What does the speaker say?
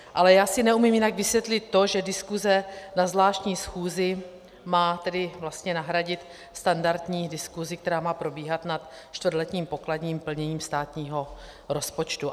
Ale já si neumím jinak vysvětlit to, že diskuse na zvláštní schůzi má tedy vlastně nahradit standardní diskusi, která má probíhat na čtvrtletním pokladním plnění státního rozpočtu.